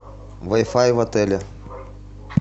вай фай в отеле